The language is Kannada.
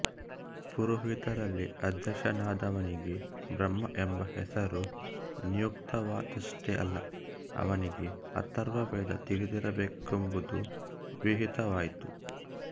ಪುರೋಹಿತರಲ್ಲಿ ಅಧ್ಯಕ್ಷನಾದವನಿಗೆ ಬ್ರಹ್ಮ ಎಂಬ ಹೆಸರು ನಿಯುಕ್ತವಾಯಿತಷ್ಟೇ ಅಲ್ಲ ಅವನಿಗೆ ಅಥರ್ವವೇದ ತಿಳಿದಿರಬೇಕೆಂಬುದೂ ವಿಹಿತವಾಯಿತು